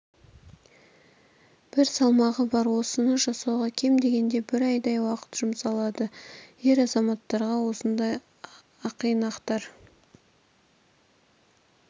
бір салмағы бар осыны жасауға кем дегенде бір айдай уақыт жұмсалады ер азаматтарға осындай ақинақтар